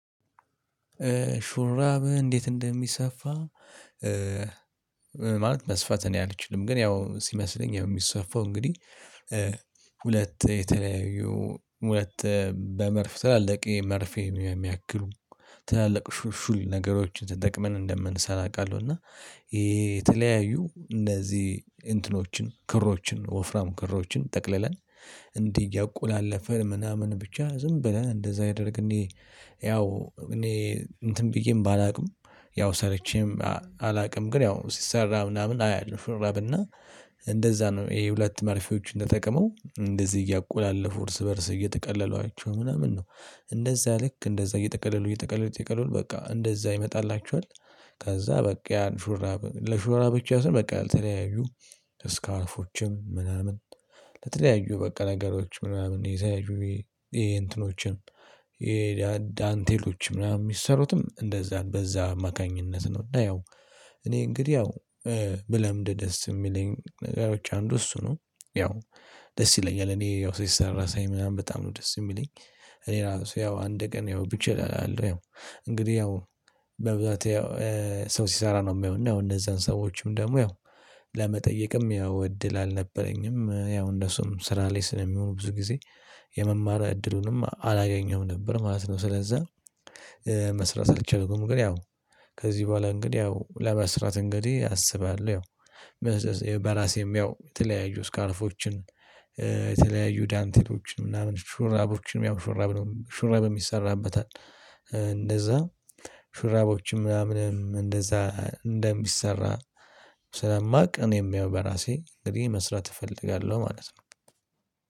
ሹራብ እንዴት እንደሚሰፋ? ማለት መስፋት እኔ አልችልም ግን ያው ሲመስለኝ የሚሰፋው እንግዲህ ሁለት የተለያዩ ሁለት በመርፍ ትላልቄ መርፌ የሚያክሉ ትላልቅ ሹል ነገሮችን ትጠቅመን እንደምንሰራ አውቃለሁ እና ይሄ የተለያዩ እነዚህ እንትኖችን ክሮችን ወፍራም ክሮችን ጠቅልለን እንዲህ እያቆላለፈ ምናምን ብቻ ዝም ብለን እንደዛ ያደርግን ያው እኔ እንትን ብዬም ባላውቅም ያው ሰርቼም አላውቅም ግን ያው ሲሰራ ምናምን አያለሁ ሹራብሹራብ እና እንደዛ ነው ይሄ ሁለት መርፌዎች ጠቀመው እንደዚህ እያቆላለፉ እርስ በእርስ እየጠቀለሏቸው ምናምን ነው እንደዛ ልክ እንደዛ እየጠቀለሉ እየጠቀለሉ እየጠቀለሉ በቃ እንደዛ ይመጣላችኋል። ከዛ በቃ ያን ሹራብ ለሹራብ ብቻ ሳይሆን በቃ ለተለያዩ እስካልፎችን ምናምን ለተለያዩ በቃ ነገሮች ምናምን የተለያዩ የእንትኖችን የዳንቴሎች ምናምን የሚሰሩትም እንደዛ በዛ አማካኝነት ነው። እና ያው እኔ እንግዲህ ያው ብለምድ ደስ የሚለኝ ነገሮች አንዱ እሱ ነው ያው ደስ ይለኛል እኔ ያው ሲሰራ ሳይ ምናምን በጣም ነው ደስ የሚለኝ። እኔ ራሱ ያው አንድ ቀን ያው ብቻ እላለሁ ያው እንግዲህ ያው በብዛት ያው ሰው ሲሰራ ነው የሚሆነው እንደዛን ሰዎችም ደግሞ ያው ለመጠየቅም ያው እድል አልነበረኝም ያው እንደሱም ስራ ላይ ስለሚሆኑ ብዙ ጊዜ የመማር እድሉንም አላገኘሁም ነበር ማለት ነው። ስለዛ መስራት አልቻልኩም። ግን ያው ከዚህ በኋላ እንግዲህ ያው ለመስራት እንግዲህ አስባለሁ። ያው በራሴም ያው የተለያዩ ስካርፎችን የተለያዩ ዳንቴሎችን ምናምውን ሹራቦችን ያው ሹራብ ሽራብ ይሰራበታል እንደዛ ሽራብ ምናምንም እንደዛ እንደሚሰራ ስለማውቅ እኔም ያው በራሴ እንግዲህ መስራት እፈልጋለሁ ማለት ነው